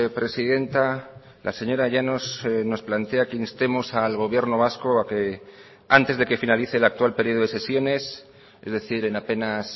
presidenta la señora llanos nos plantea que instemos al gobierno vasco a que antes de que finalice el actual periodo de sesiones es decir en apenas